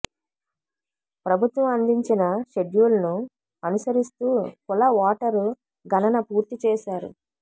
ప్రభుత్వం అందించిన షెడ్యూల్ను అనుసరిస్తూ కుల ఓటరు గణన పూర్తి చేశారు